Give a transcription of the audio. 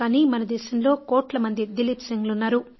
కానీ మన దేశంలో కోట్ల మంది దిలీప్ సిన్హ్ లు ఉన్నారు